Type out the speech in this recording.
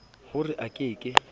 ho re a ke ke